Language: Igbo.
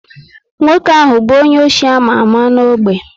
Nwoke ahụ bu onye ọchị ama ámá n' ogbe